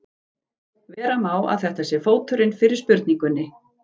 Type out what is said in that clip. Vera má að þetta sé fóturinn fyrir spurningunni.